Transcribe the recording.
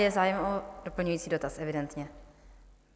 Je zájem o doplňující dotaz evidentně.